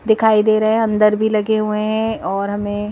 दिखाई दे रहे हैं अंदर भी लगे हुए हैं और हमें--